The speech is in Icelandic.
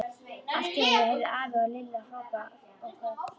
Allt í einu heyrðu afi og Lilla hróp og köll.